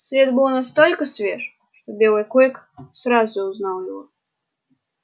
след был настолько свеж что белый клык сразу узнал его